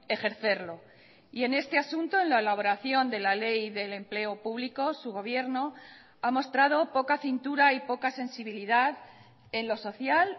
ejercerlo y en este asunto en la elaboración de la ley del empleo público su gobierno ha mostrado poca cintura y poca sensibilidad en lo social